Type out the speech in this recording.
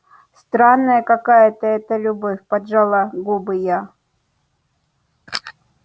странная какая-то это любовь поджала губы я